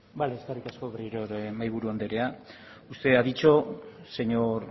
eskerrik asko berriro ere mahaiburu anderea usted ha dicho señor